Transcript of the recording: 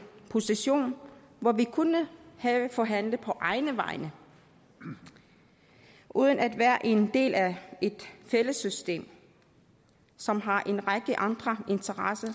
position hvor vi kunne have forhandlet på egne vegne uden at være en del af et fællessystem som har en række andre interesser